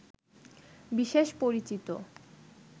বিশেষ পরিচিত